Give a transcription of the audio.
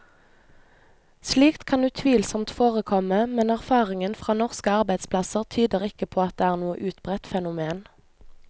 Slikt kan utvilsomt forekomme, men erfaringen fra norske arbeidsplasser tyder ikke på at det er noe utbredt fenomen.